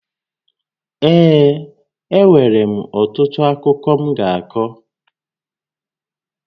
Ee, e nwèrè m ọtụtụ akụkọ m ga-akọ